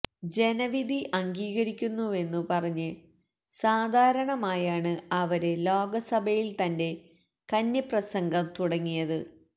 ജനവിധി അംഗീകരിക്കുന്നുവെന്നു പറഞ്ഞ് സാധാരണമായാണ് അവര് ലോക്സഭയില് തന്റെ കന്നിപ്രസംഗം തുടങ്ങിയത്